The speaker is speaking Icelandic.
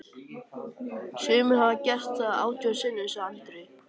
Sumir hafa gert það átján sinnum, sagði Andri.